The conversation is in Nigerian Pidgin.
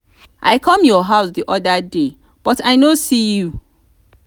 i come your house the other day but i no see you